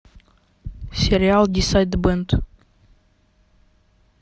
сериал дисайд бэнд